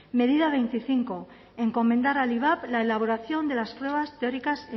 medida veinticinco encomendar al ivap la elaboración de las pruebas teóricas